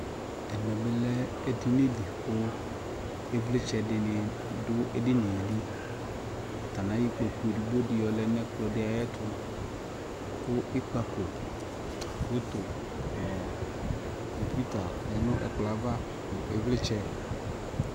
ɛmɛ bi lɛ ɛdini di kʋ ivlitsɛ dini dʋ ɛdiniɛ li, atani ayɔ ikpɔkʋ ɛdigbɔ di yɔ lɛnʋ ɛkplɔ di ayɛtʋ kʋ ikpakɔ, photo nʋcomputer lɛnʋ ɛkplɔɛ aɣa ivlitsɛ